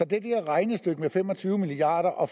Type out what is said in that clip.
det der regnestykke med fem og tyve milliarder og